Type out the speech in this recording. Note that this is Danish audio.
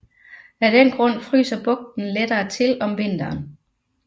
Af den grund fryser bugten lettere til om vinteren